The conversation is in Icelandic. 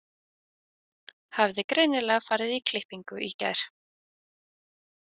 Hafði greinilega farið í klippingu í gær.